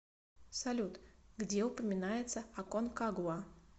салют где упоминается аконкагуа